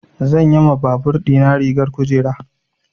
Zan yi ma babur ɗina rigar kujera.